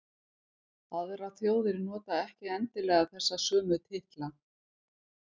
Aðrar þjóðir nota ekki endilega þessa sömu titla.